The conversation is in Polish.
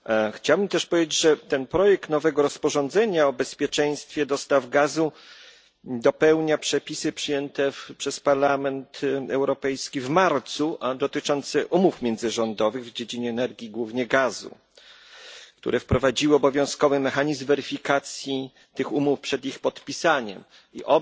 Chciałbym też powiedzieć, że ten projekt nowego rozporządzenia o bezpieczeństwie dostaw gazu dopełnia przepisy przyjęte przez Parlament Europejski w marcu, a dotyczące umów międzyrządowych w dziedzinie energii, głównie gazu, które wprowadziły obowiązkowy mechanizm weryfikacji tych umów przed ich podpisaniem i